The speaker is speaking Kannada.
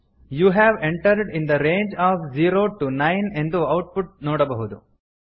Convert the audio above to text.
you have entered in the range of zero to nine ಎಂದು ಔಟ್ ಪುಟ್ ನೋಡಬಹುದು